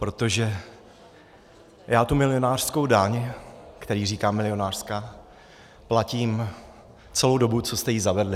Protože já tu milionářskou daň, které říkám milionářská, platím celou dobu, co jste ji zavedli.